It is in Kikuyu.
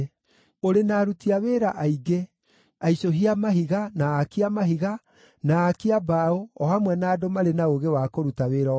Ũrĩ na aruti wĩra aingĩ: aicũhia a mahiga, na aaki a mahiga, na aaki a mbaũ, o hamwe na andũ marĩ na ũũgĩ wa kũruta wĩra o wothe